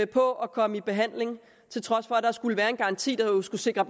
på at komme i behandling til trods for at der skulle være en garanti der jo skulle sikre